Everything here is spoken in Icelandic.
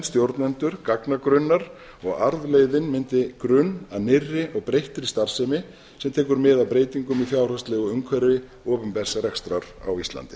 stjórnendur gagnagrunnar og arfleifðin myndi grunn að nýrri og breyttri starfsemi sem tekur mið af breytingum í fjárhagslegu umhverfi opinbers rekstrar á íslandi